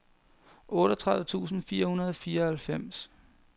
otteogtredive tusind fire hundrede og fireoghalvfems